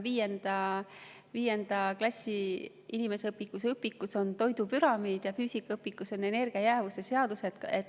Vist viienda klassi inimeseõpetuse õpikus on toidupüramiid ja füüsikaõpikus on energia jäävuse seadus.